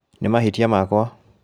Nĩ mahĩtia makwa